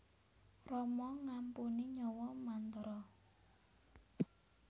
Rama ngampuni nyawa Mantara